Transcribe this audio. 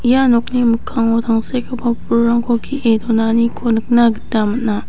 ia nokni mikkango tangsekgipa pulrangko ge·e donaniko nikna gita man·a.